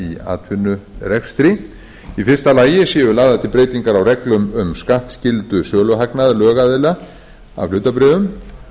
atvinnurekstri í fyrsta lagi séu lagðar til breytingar á reglum um skattskyldu söluhagnaðar lögaðila af hlutabréfum